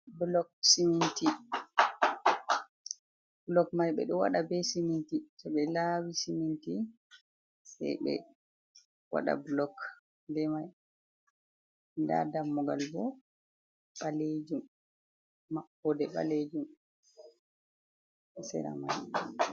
Blok ciminti, blok mai ɓe ɗo waɗa be siminti, to ɓe lawi siminti sai ɓe waɗa blok be mai, nda dammugal bo ɓalejum, maɓode ɓalejum, sera mai.